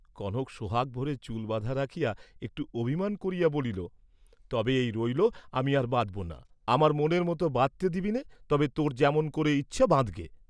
কনক সোহাগভরে চুল বাঁধা রাখিয়া একটু অভিমান করিয়া বলিল, "তবে এই রইল, আমি আর বাঁধব না, আমার মনের মত বাঁধতে দিবিনে তবে তোর যেমন করে ইচ্ছা বাঁধ্‌গে।"